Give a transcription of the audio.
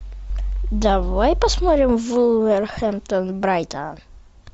давай посмотрим вулверхэмптон брайтон